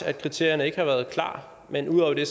at kriterierne ikke har været klar men ud over det